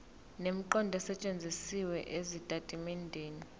nemiqondo esetshenzisiwe ezitatimendeni